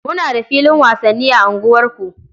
Muna da filin wasanni a unguwarku.